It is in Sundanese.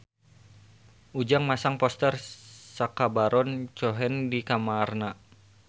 Ujang masang poster Sacha Baron Cohen di kamarna